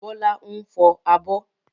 Bọ́lá ń fọ abọ́.